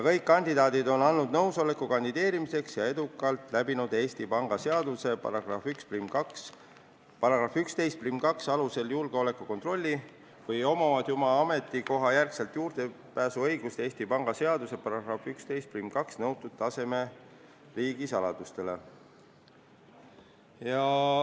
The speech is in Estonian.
Kõik kandidaadid on andnud nõusoleku kandideerimiseks ja edukalt läbinud Eesti Panga seaduse § 112 alusel julgeolekukontrolli või on neil juba oma ametikoha järgselt õigus Eesti Panga seaduse §-s 112 nõutud taseme riigisaladustele.